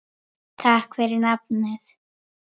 Takk fyrir nafnið.